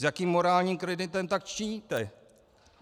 S jakým morálním kreditem tak činíte?